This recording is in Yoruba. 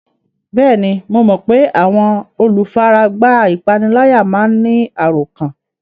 Bẹ́ẹ̀ni, mo mọ pé àwọn olùfaragbá ìpániláyà máa ń ní àròkán